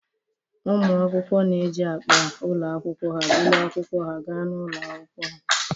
Ụmụ akwụkwọ na-eji akpa ụlọ akwụkwọ buru akwụkwọ ha ga n'ụlọ akwụkwọ.